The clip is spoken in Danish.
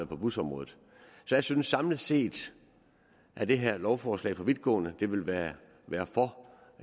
på busområdet så jeg synes samlet set at det her lovforslag er for vidtgående det vil være